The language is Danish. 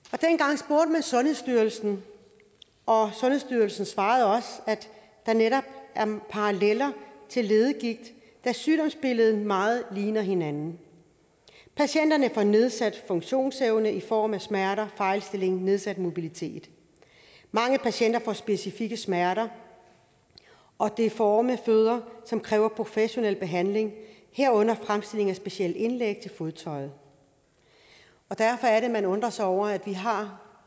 og sundhedsstyrelsen og sundhedsstyrelsen svarede også at der netop er paralleller til leddegigt da sygdomsbilledet meget ligner hinanden patienterne får nedsat funktionsevne i form af smerter fejlstilling og nedsat mobilitet mange patienter får specifikke smerter og deforme fødder som kræver professionel behandling herunder fremstilling af specielle indlæg til fodtøjet og derfor er det man undrer sig over at vi har